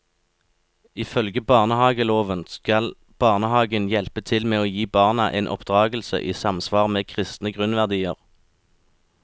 Ifølge barnehageloven skal barnehagen hjelpe til med å gi barna en oppdragelse i samsvar med kristne grunnverdier.